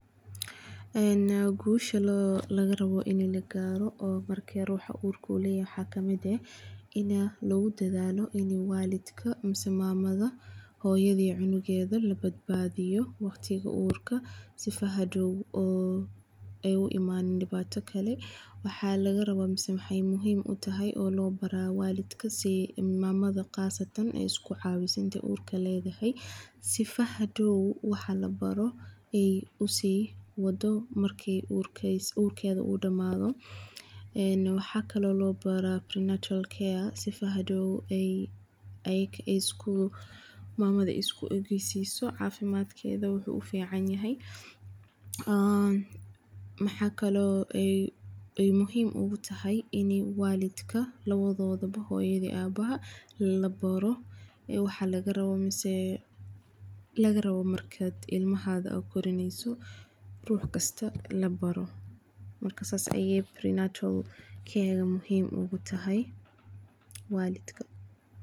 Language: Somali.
An guusha laga raboh ina lagaroh oo marka ruxa urka ulayahay wax kamid ah ina logu dadalo ina walika masah mamada hoyoda iyo cunkada la badabadiyo waqtika urka sifa hadow oo ay u imani dhib dibata kle wax laga rabah masah way muhiim u tahay ina lobaro walidka sii mamada qasatan ay isku cawisoh inta urka ladahay, sifa hadow wax labaro ay usiwado marki urkada udamdoh, waxkle lobara barod care sifo hadow ayaka aya isku, mamada iska cafimadkada wuxu uficanyahay, maxa kle ay muhiim ogu tahay in walidka lawadoda ba hoyada iyo abaha labaro wax lagaraba masah laga rabah masah ilmahada gorinaysoh ruxkasta la baro marka saas aya muhiim ogu tahay walidka.